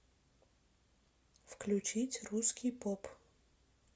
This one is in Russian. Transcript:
включить русский поп